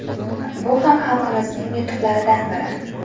Bu ham xalqimizning yutuqlaridan biri”.